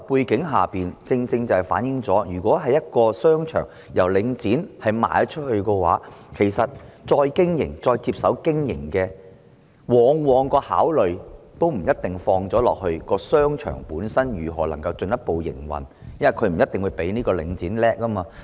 這正正反映出在領展出售商場後，再接手經營的人的考慮，往往不一定着眼於如何能夠進一步營運商場，因為他們不一定較領展厲害。